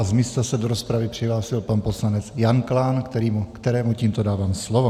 A z místa se do rozpravy přihlásil pan poslanec Jan Klán, kterému tímto dávám slovo.